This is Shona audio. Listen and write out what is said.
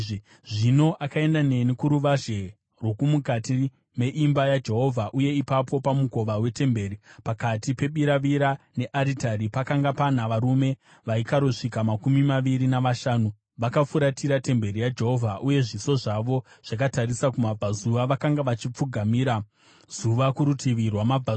Zvino akaenda neni kuruvazhe rwomukati meimba yaJehovha, uye ipapo pamukova wetemberi, pakati pebiravira nearitari, pakanga pana varume vaikarosvika makumi maviri navashanu. Vakafuratira temberi yaJehovha uye zviso zvavo zvakatarisa kumabvazuva, vakanga vachipfugamira zuva kurutivi rwamabvazuva.